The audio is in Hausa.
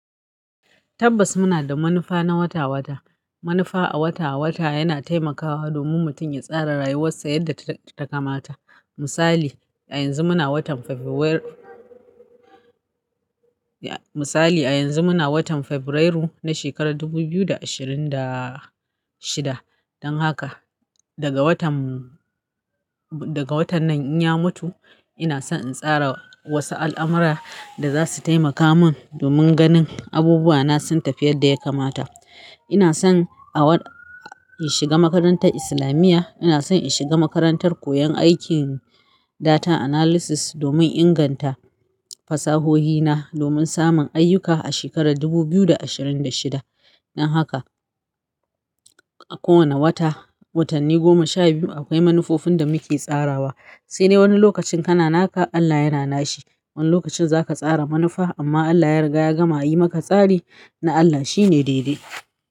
Tabbas muna da manufa na wata-wata. Manufa a wata-wata yana taimakawa domin mutum ya tsara rayuwarsa yadda ta kamata. Misali a yanzu muna watan Febrairu na shekarar dubu biyu da ashirin da shida dan haka daga watan nan in ya mutu ina so in tsara wasu al'amura da za su taimaka mun domin ganin abubuwa na sun tafi yadda ya kamata ina son in shiga makarantar islamiya ina son in shiga makarantar koyon aikin data analysis domin inganta fasahohina domin samun ayyuka a shekarar dubu biyu da ashirin da shida dan haka a kowane wata watanni goma sha biyu akwai manufofin da muke tsarawa sai dai wani lokacin kana naka Allah yana nashi. Wani lokacin zaka tsara manufa amma Allah ya riga ya gama yi maka tsari na Allah shine dede.